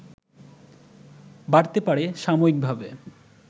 বাড়তে পারে সাময়িকভাবে